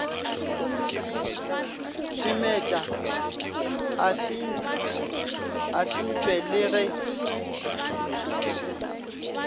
timetše a sentšwe le ge